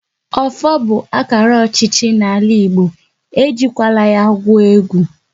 Ọfọ bụ akara ọchịchị n'ala Igbo, e jikwala ya gwuo egwu!